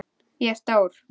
Ég er stór.